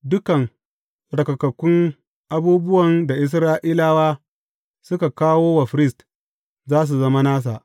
Dukan tsarkakakkun abubuwan da Isra’ilawa suka kawo wa firist za su zama nasa.